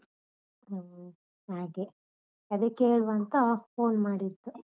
ಹ್ಮ್ ಹಾಗೆ. ಅದೆ ಕೇಳುವ ಅಂತ phone ಮಾಡಿದ್ದು.